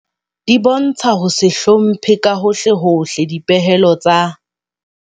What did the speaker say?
Di bontsha ho se hlomphe ka hohlehohle dipehelo tsa.